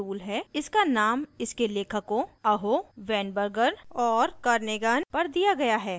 इसका named इसके लेखकों aho weinberger और kernighan पर दिया गया है